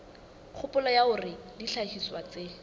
kgopolo ya hore dihlahiswa tse